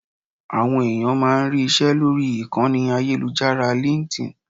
Àwọn ẹ̀yàn máa ń rí ìṣe lórí ìkànnì ayélujára LinkedIn.